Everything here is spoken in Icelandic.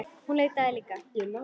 Hún leitaði líka.